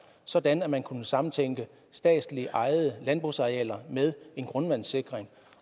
sådan at man kunne samtænke statslig ejede landbrugsarealer med en grundvandssikring